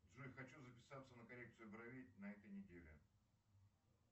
джой хочу записаться на коррекцию бровей на этой неделе